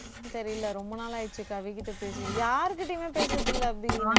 தெரியல ரொம்ப நாள் ஆயிருச்சு கவி கிட்ட பேசி யார்கிட்டயுமே பேசுறது இல்ல அபி